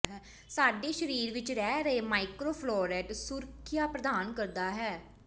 ਸਾਡੇ ਸਰੀਰ ਵਿਚ ਰਹਿ ਰਹੇ ਮਾਈਕ੍ਰੋ ਫਲੋਰਟ ਸੁਰੱਖਿਆ ਪ੍ਰਦਾਨ ਕਰਦਾ ਹੈ